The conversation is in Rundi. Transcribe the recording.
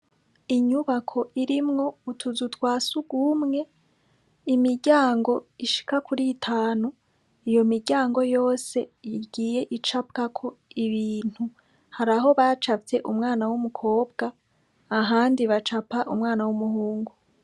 Inyubako irimwo utuzu twa sugumwe imiryango ishika kuri itanu, iyo miryango yose igiye icapwako ibintu hari aho bacafye umwana w'umukobwa ahandi bacapa umwana w'umuhungu.